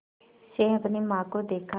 से अपनी माँ को देखा